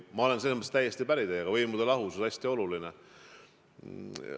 Ma olen selles mõttes teiega täiesti päri, et võimude lahusus on hästi oluline.